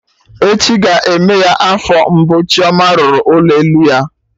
Echi ga-eme ya afọ mbụ Chioma rụrụ ụlọ elu ya